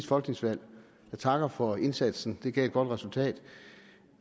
folketingsvalg jeg takker for indsatsen det gav et godt resultat